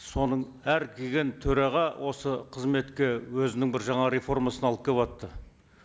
соның әр келген төраға осы қызметке өзінің бір жаңа реформасын алып келіватты